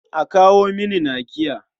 A kawo mini nakiya.